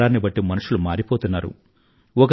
కాలాన్ని బట్టి మనుషులు మారిపోతున్నారు